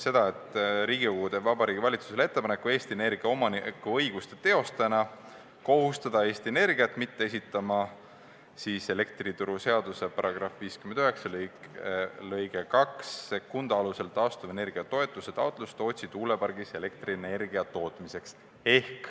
Riigikogu teeb Vabariigi Valitsusele ettepaneku kohustada Eesti Energia omanikuõiguste teostajana Eesti Energiat mitte esitama elektrituruseaduse § 59 lõike 22 alusel taastuvenergia toetuse taotlust Tootsi tuulepargis elektrienergia tootmiseks.